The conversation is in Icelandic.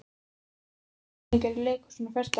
Daníela, hvaða sýningar eru í leikhúsinu á föstudaginn?